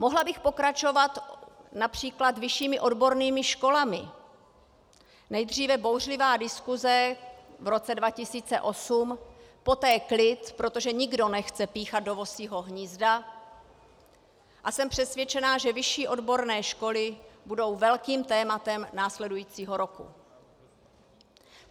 Mohla bych pokračovat například vyššími odbornými školami - nejdříve bouřlivá diskuse v roce 2008, poté klid, protože nikdo nechce píchat do vosího hnízda, a jsem přesvědčena, že vyšší odborné školy budou velkým tématem následujícího roku.